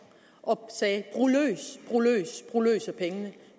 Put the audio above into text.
og sagde brug løs brug løs af pengene